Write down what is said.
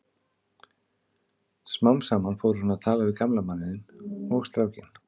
Smám saman fór hún að tala við gamla manninn og strákinn.